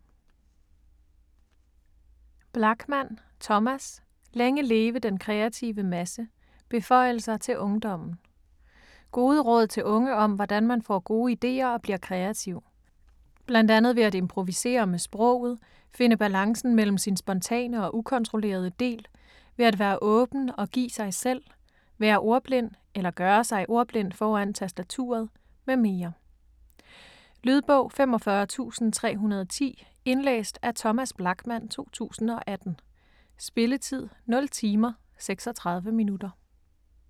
Blachman, Thomas: Længe leve den kreative masse: beføjelser til ungdommen Gode råd til unge om hvordan man får gode idéer og bliver kreativ. Bl.a. ved at improvisere med sproget, finde balancen mellem sin spontane og ukontrollerede del, ved at være åben og give sig selv, være ordblind (eller gøre sig ordblind foran tastaturet), med mere. Lydbog 45310 Indlæst af Thomas Blachman, 2018. Spilletid: 0 timer, 36 minutter.